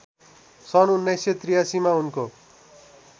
सन् १९८३ मा उनको